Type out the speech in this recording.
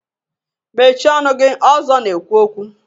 Mechịe ọnụ gị! Ọzọ na-ekwu okwu